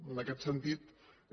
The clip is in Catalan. en aquest sentit és